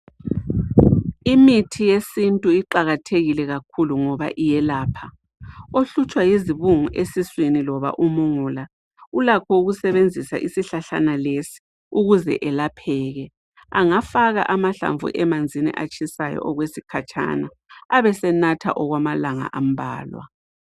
Imithi yesintu iqakathekile kakhulu ngoba iyelapha ohlutshwa yizibungu esiswini loba umungula ulakho ukusebenzisa isihlahlana lesi ukuze elapheke angafaka amahlamvu emanzini atshisayo okwesikhatshana abesenatha okwamalanga ambalwa.